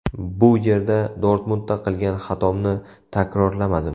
Bu yerda Dortmundda qilgan xatomni takrorlamadim.